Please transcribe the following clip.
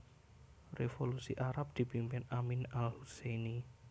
Revolusi Arab dipimpin Amin Al Husseini